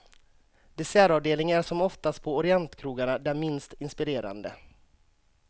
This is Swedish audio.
Dessertavdelningen är som oftast på orientkrogarna den minst inspirerande.